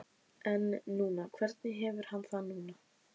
En núna, hvernig hefur hann það núna?